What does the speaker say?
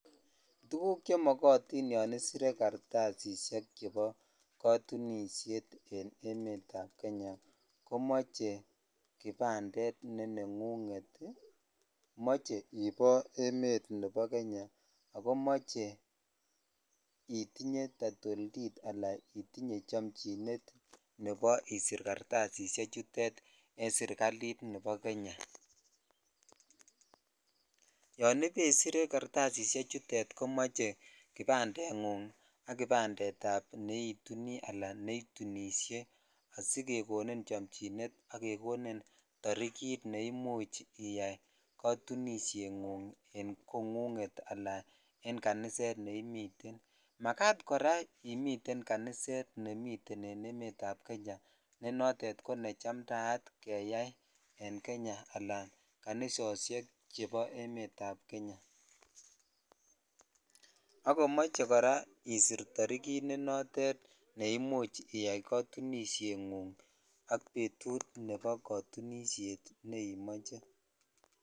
Tuguk chemikitin yon iesire jataisisek ab katunishet en emet ab Kenya komoche kipandet nenengunget moche ibo eme ab Kenya itnye taitoltit ala itinye chomchinet nebo isir kartasise chutet en sirkalit ne bo Kenya (puse) yan ibaisir kartasishe chutet komoche kipande ngung ak nebo neituni ala netunishe asijekonin chomchinet ak kekonin torikit ne much iyai jatunishe ngug en kongunget ala en kaniset neimiten makat kora imiten kaniset nemiten en emet ab Kenya ne notet ko ne chamtaat keyai en kanisoshek che makat en emet ab Kenya akomoche kora isir tarikit ne noton ne imuch iyai katunishengung ak betut nebo katunishetne imoche.